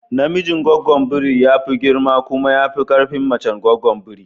Namijin goggon biri ya fi girma kuma ya fi ƙarfin mace goggon biri